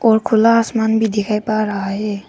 और खुला आसमान भी दिखाई पर रहा है।